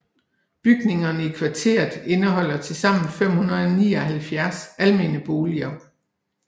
Bygningerne i kvarteret indeholder tilsammen 579 almene boliger